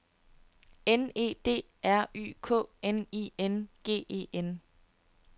N E D R Y K N I N G E N